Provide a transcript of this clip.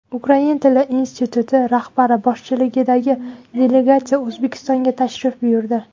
Ukrain tili instituti rahbari boshchiligidagi delegatsiya O‘zbekistonga tashrif buyurdi.